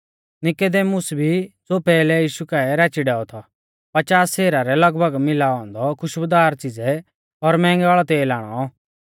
नीकुदेमुस भी ज़ो पैहलै यीशु काऐ राची डैऔ थौ पचास सेरा रै लगभग मिलाऔ औन्दौ खुशबुदार च़िज़ै और मैंहगै वाल़ौ तेल आणौ